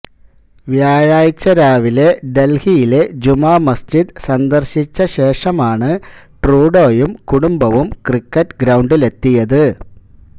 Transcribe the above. വ്യാഴാഴ്ച രാവിലെ ദല്ഹിയിലെ ജുമാ മസ്ജിദ് സന്ദര്ശിച്ച ശേഷമാണ് ട്രൂഡോയും കുടുംബവും ക്രിക്കറ്റ് ഗ്രൌണ്ടിലെത്തിയത്